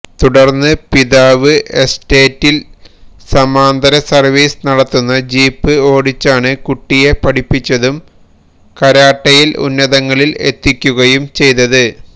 തുടര്ന്ന് പിതാവ് എസ്റ്റേറ്റില് സമാന്തര സര്വ്വീസ് നടത്തുന്ന ജീപ്പ് ഓടിച്ചാണ് കുട്ടിയെ പഠിപ്പിച്ചതും കാരട്ടയില് ഉന്നതങ്ങളില് എത്തിക്കുകയും ചെയ്തത്